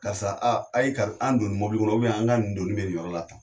Karisa a ye ka an donni mobili kɔnɔ an ka nin doni bɛ nin yɔrɔ la tan.